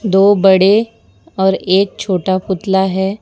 दो बड़े और एक छोटा पुतला है।